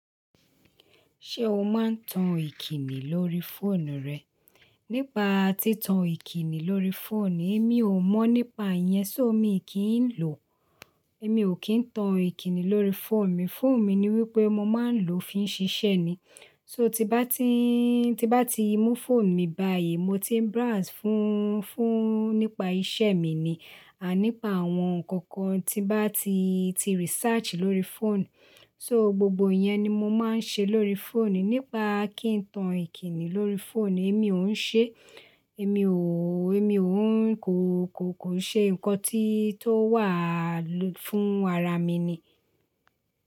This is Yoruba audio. Ṣé o máa ń tan ìkíni lórí fóònù rẹ? Nípa tí tan ìkíni lórí fóònù, èmi ò mọ̀ nípa yẹn, só mi kì ń lò. Èmi ò kí ń tan ìkíni lórí fóònù mi. Fóònù mi ni wípé mo máa ń lò ó fi ń ṣiṣẹ́ ni So, tí bá ti mú fóònù mi báyìí, mo ti ń browse fún nípa isẹ́ mi ni. Àaa, ní pa àwọn nnkan kan tí bá ti research lórí fóònù. So, gbogbo iyẹn ni mo máa ń ṣe lórí fóònù. Nípa kí n tan ìkíni lórí fóònù, èmi ò ń ṣe. Èmi ò, kò ṣe nǹkan tí o wà fún ara mi ni.